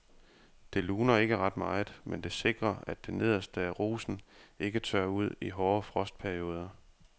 Det luner ikke ret meget, men det sikrer at det nederste af rosen ikke tørrer ud i hårde frostperioder.